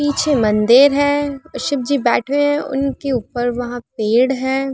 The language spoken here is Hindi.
पीछे मंदिर है। शिव जी बैठे है। उनके ऊपर वहाँ पेड़ है।